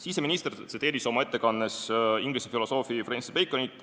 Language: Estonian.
Siseminister tsiteeris oma ettekandes Inglise filosoofi Francis Baconit.